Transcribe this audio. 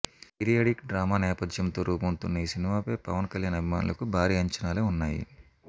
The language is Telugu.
పీరియడిక్ డ్రామా నేపథ్యంతో రూపొందుతున్న ఈ సినిమాపై పవన్ కల్యాణ్ అభిమానులకు భారీ అంచనాలే ఉన్నాయి